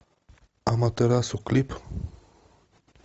аматерасу клип